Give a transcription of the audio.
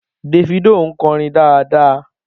Davido ń kọrin dáadáa